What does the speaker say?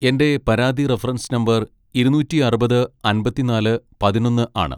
എന്റെ പരാതി reference number ഇരുന്നൂറ്റി അറുപത് അമ്പതിന്നാല് പതിനൊന്ന് ആണ്.